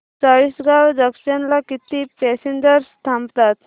Chalisgaon junction ला किती passengers थांबतात